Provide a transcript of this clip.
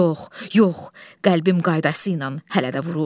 Yox, yox, qəlbim qaydasıyla hələ də vurur.